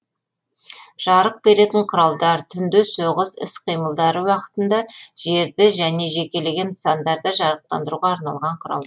жарық беретін құралдар түнде соғыс іс қимылдары уақытында жерді және жекелеген нысандарды жарықтандыруға арналған құралдар